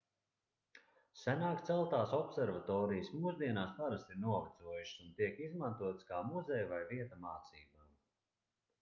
senāk celtās observatorijas mūsdienās parasti ir novecojušas un tiek izmantotas kā muzeji vai vieta mācībām